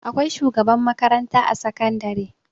Akwai shugaban makaranta a sakandari.